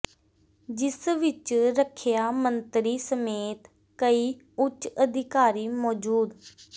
ਜਿਸ ਵਿੱਚ ਰੱਖਿਆ ਮੰਤਰੀ ਸਮੇਤ ਕਈ ਉਚ ਅਧਿਕਾਰੀ ਮੌਜੂਦ